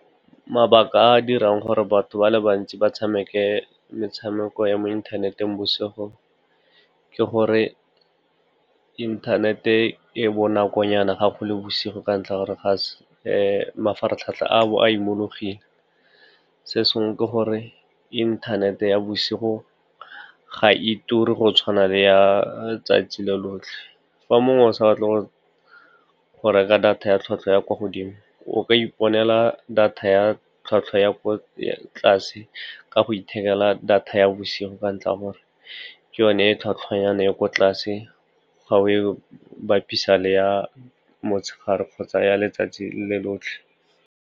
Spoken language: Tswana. Mabaka a a dirang gore batho ba le bantsi ba tshameke metshameko ya mo inthaneteng bosigo ke gore inthanete e bonakonyana fa go le bosigo ka ntlha ya gore mafaratlhatlha a bo a imologile. Se sengwe ke gore inthanete ya bosigo ga e ture go tshwana le ya tsatsi lo lotlhe. Fa mongwe o sa batle go reka data ya tlhwatlhwa ya kwa godimo, o ka iponela data ya tlhwatlhwa ya kwa tlase ka go ithekela data ya bosigo ka ntlha ya gore ke yone e tlhwatlhwanyana e kwa tlase fa o e bapisa le ya motshegare kgotsa ya letsatsi le lotlhe.